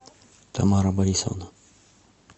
тамара борисовна